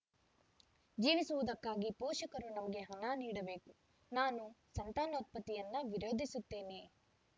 ಜೀವಿಸುವುದಕ್ಕಾಗಿ ಪೋಷಕರು ನಮಗೆ ಹಣ ನೀಡಬೇಕು ನಾನು ಸಂತಾನೋತ್ಪತ್ತಿಯನ್ನು ವಿರೋಧಿಸುತ್ತೇನೆ